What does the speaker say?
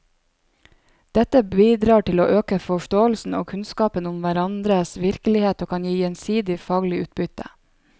Dette bidrar til å øke forståelsen og kunnskapen om hverandres virkelighet og kan gi gjensidig faglig utbytte.